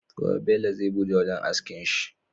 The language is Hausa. Gobe Bello zai buɗe wajan askin shi